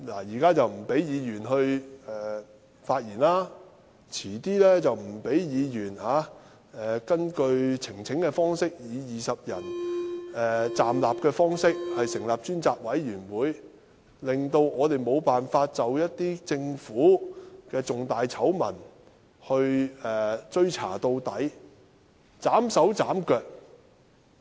現在不准議員發言，稍後又不准議員根據以20名議員站立的呈請方式成立專責委員會，令我們無法就一些政府的重大醜聞追查到底，被斬手斬腳。